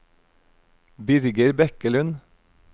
Birger Bekkelund